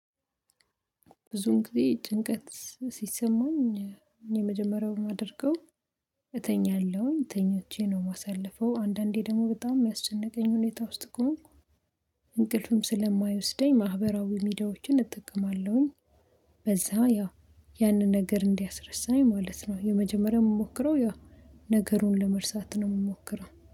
ብዙን ጊዜ ጭንቀት ሲሰማኝ እኔ መጀመሪያውን የማደርገው። እተኛለሁኝ ተኞቼ ነው የማሳልፈው አንዳንዴ ደግሞ በጣም የሚያስጨንቀኝ ሁኔታ ውስጥ ከሆንኩ እንቅልፍም ስለማይወስደኝ ማህበራዊ ሚዲያዎችን እጠቀማለሁኝ በዛ ያው ያንን ነገር እንዲያስረስናኝ ነኝ ማለት ነው። የመጀመሪያው የምሞክረው ያው ነገሩን ለመርሳት ነው የምሞክረው